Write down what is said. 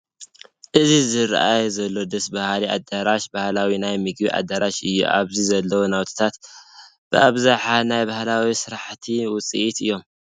እዚ ዝርአይ ዘሎ ደስ በሃሊ ኣዳራሽ ባህላዊ ናይ ምግቢ ኣዳራሽ እዩ፡፡ ኣብኢ ዘለዉ ናውትታት ብኣብዝሓ ናይ ባህላዊ ስራሕቲ ውፅኢት እዮም፡፡